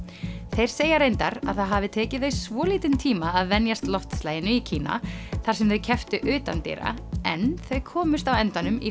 þeir segja reyndar að það hafi tekið þau svolítinn tíma að venjast loftslaginu í Kína þar sem þau kepptu utandyra en þau komust á endanum í